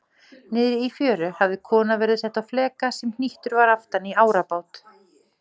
Niðri í fjöru hafði kona verið sett á fleka sem hnýttur var aftan í árabát.